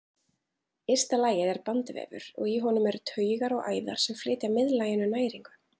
Ysta lagið er bandvefur og í honum eru taugar og æðar sem flytja miðlaginu næringu.